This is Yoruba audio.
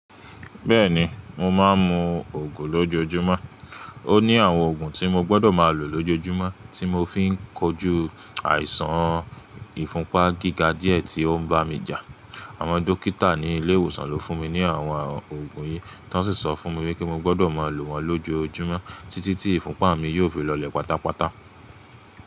Bẹ́ẹ̀ni, mo máà ń mu ògùn lójojúmọ́. Ó ní àwọn ògùn tí mo gbọ́dọ̀ máa lò lójojúmọ́, tí mo fi ń kojú àìsàn ìfúnpá gíga díẹ̀ tí ó ń bà mí jà. Àwọn dókítà ni ile ìwòsàn lo funmi ni àwọn oògùn yi, tán si sọ fún mi wipé mo gbọ́dọ̀ mọ lo wọ́n lojoojumọ títí ti ifunpa mi yóò fi lọlẹ pátápátá.